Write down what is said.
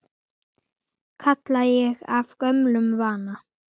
kalla ég af gömlum vana.